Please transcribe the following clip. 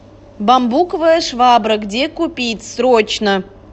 бамбуковая швабра где купить срочно